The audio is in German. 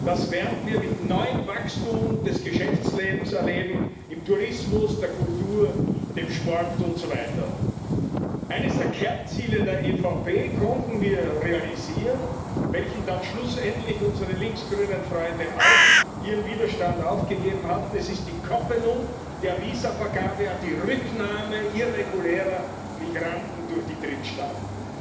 Das werden wir mit neuem Wachstum des Geschäftslebens erleben im Tourismus, der Kultur, dem Sport usw. Eines der Kernziele der EVP konnten wir realisieren, gegen welches dann schlussendlich unsere links grünen Freunde auch ihren Widerstand aufgegeben haben Es ist die Koppelung der Visavergabe an die Rücknahme irregulärer Migranten durch die Drittstaaten.